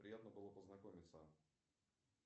приятно было познакомиться